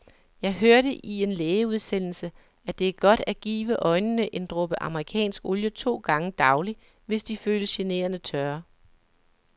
Jeg hørte i en lægeudsendelse, at det er godt at give øjnene en dråbe amerikansk olie to gange daglig, hvis de føles generende tørre.